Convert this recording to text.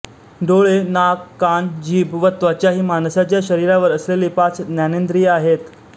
डोळे नाक कान जीभ व त्वचा ही माणसाच्या शरीरावर असलेली पाच ज्ञानेंद्रिये आहेत